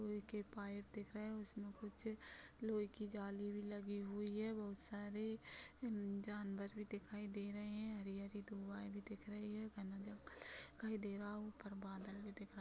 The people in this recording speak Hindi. लोहै के पाइप दिख रहें हैं उसमे कुछ लोहै की जाली भी लगी हुई है बहोत सारे जानवर भी दिखाई दे रहें हैं हरी-हरी धुवाए भी दिख रहीं हैं घना जंगल दिखाई दे रहा है उप्पर बदल भी दिखरा --